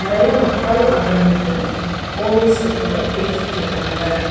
நெறைய மக்கள் அங்க நின்னு போலீஸ்ஸு கூட பேசிட்ருக்காங்க.